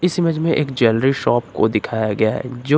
इस इमेज में एक ज्वेलरी शॉप को दिखाया गया है जो --